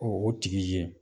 O o tigi ye